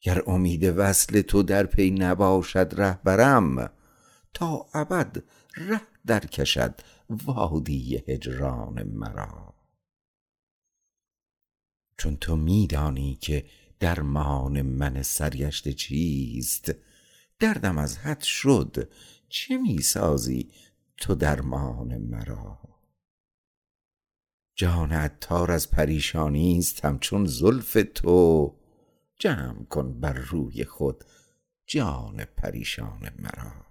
گر امید وصل تو در پی نباشد رهبرم تا ابد ره درکشد وادی هجران مرا چون تو می دانی که درمان من سرگشته چیست دردم از حد شد چه می سازی تو درمان مرا جان عطار از پریشانی است همچون زلف تو جمع کن بر روی خود جان پریشان مرا